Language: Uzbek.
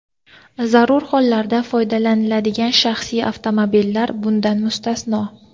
zarur hollarda foydalaniladigan shaxsiy avtomobillar bundan mustasno.